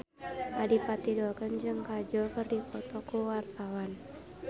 Adipati Dolken jeung Kajol keur dipoto ku wartawan